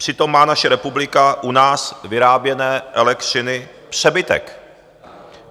Přitom má naše republika u nás vyráběné elektřiny přebytek.